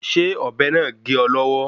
Ṣé ọ̀bẹ náà gé ọ lọ́wọ́